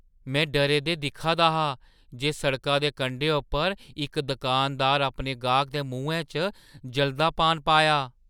में डरे दे दिक्खा दा हा जे सड़का दे कंढे उप्पर इक दुकानदारै अपने गाह्कै दे मुहैं च जलदा पान पाया।